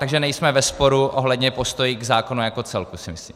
Takže nejsme ve sporu ohledně postoje k zákonu jako celku, si myslím.